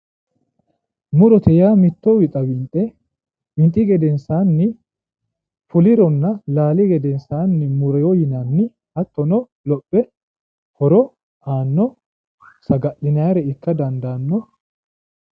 Murote yaa mitto wixa winxe winxi gedensaani fulironna laali gedensaani murino yinanni hattono lophe horo aanno saga'linannire ikka dandaanno.